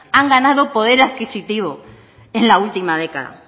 han ganado poder adquisitivo en la última década